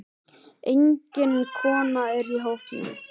Engin kona er í hópnum.